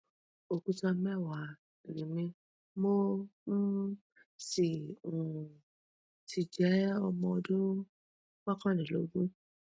òkúta mẹwàá ni mí mo um sì um sì jẹ ọmọ ọdún mọkànlélógún